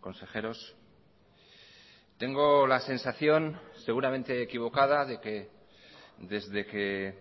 consejeros tengo la sensación seguramente equivocada de que desde que